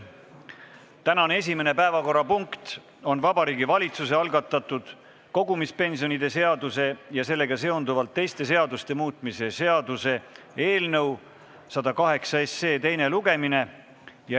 Tänane esimene päevakorrapunkt on Vabariigi Valitsuse algatatud kogumispensionide seaduse ja sellega seonduvalt teiste seaduste muutmise seaduse eelnõu 108 teine lugemine.